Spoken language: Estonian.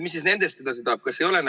Mis siis nendest edasi saab?